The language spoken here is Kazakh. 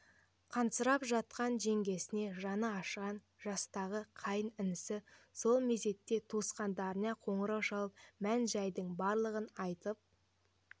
қансырап жатқан жеңгесіне жаны ашыған жастағы қайын інісі сол мезетте туыстарына қоңырау шалып мән-жайдың барлығын айтып